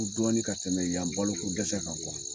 Kun dɔɔni ka tɛmɛ yan balo ko dɛsɛ kan .